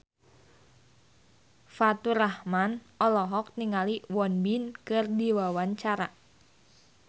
Faturrahman olohok ningali Won Bin keur diwawancara